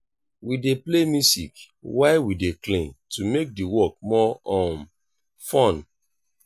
my mama like use natural soap for cleaning e no get harsh chemicals.